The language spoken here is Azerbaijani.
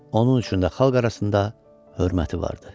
Onun üçün də xalq arasında hörməti vardı.